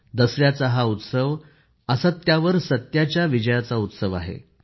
दसऱ्याचा हा उत्सव असत्यावर सत्याच्या विजयाचा उत्सव आहे